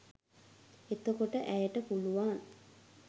එතකොට ඇයට පුළුවන්